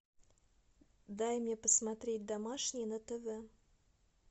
дай мне посмотреть домашний на тв